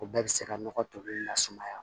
O bɛɛ bɛ se ka nɔgɔ toli la sumaya